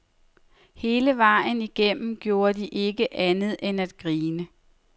Hele vejen igennem gjorde de ikke andet end at grine.